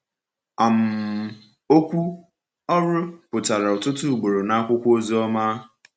um Okwu “ọrụ” pụtara ọtụtụ ugboro n’akwụkwọ Ozioma.